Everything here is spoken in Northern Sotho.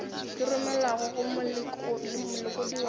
di romelwago go molekodi wa